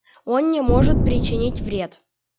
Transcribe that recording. он не может причинить вред